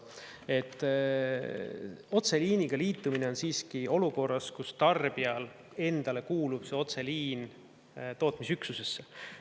Otseliiniga liitumine on siiski olukorras, kus tarbijale endale kuulub otseliin tootmisüksusesse.